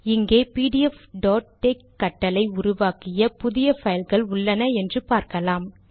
இங்கே பிடிஎஃப்tex கட்டளை உருவாக்கிய புதிய பைல்கள் உள்ளன என்று பார்க்கலாம்